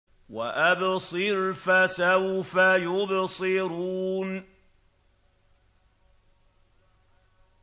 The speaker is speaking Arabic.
وَأَبْصِرْ فَسَوْفَ يُبْصِرُونَ